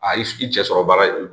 A y'i cɛ sɔrɔ baara